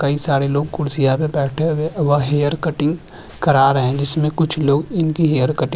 कई सारे लोग कुर्सियां पे बैठे हुए व हेयर कटिंग करा रहे है जिसमे कुछ लोग इनकी हेयर कटिंग --